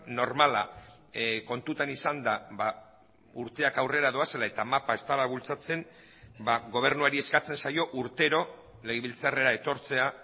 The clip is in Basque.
normala kontutan izanda urteak aurrera doazela eta mapa ez dela bultzatzen gobernuari eskatzen zaio urtero legebiltzarrera etortzea